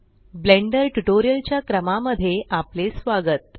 blender tutorial च्या क्रमा मध्ये आपले स्वागत